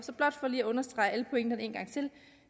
lige understrege alle pointerne en gang til